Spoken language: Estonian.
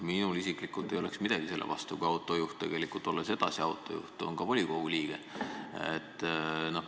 Minul isiklikult ei oleks midagi selle vastu, kui autojuht, olles edasi autojuht, oleks ka volikogu liige.